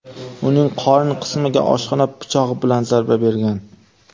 uning qorin qismiga oshxona pichog‘i bilan zarba bergan.